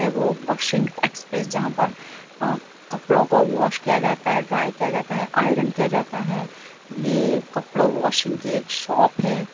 ये वो washing express जहाँ पर अ कपड़ों को वाश किया जाता है ड्राई किया जाता है आयरन किया जाता है ये कपड़ा वाशिंग की एक शॉप है।